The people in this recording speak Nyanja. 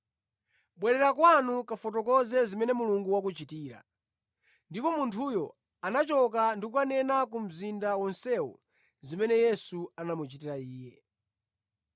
“Bwerera kwanu kafotokoze zimene Mulungu wakuchitira.” Ndipo munthuyo anachoka ndi kukanena ku mzinda wonsewo zimene Yesu anamuchitira iye.